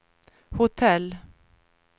hotell